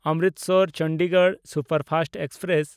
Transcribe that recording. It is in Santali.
ᱚᱢᱨᱤᱥᱚᱨ–ᱪᱚᱱᱰᱤᱜᱚᱲ ᱥᱩᱯᱟᱨᱯᱷᱟᱥᱴ ᱮᱠᱥᱯᱨᱮᱥ